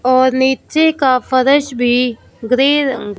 और नीचे का फरश भी ग्रे रंग--